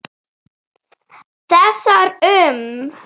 Þessar um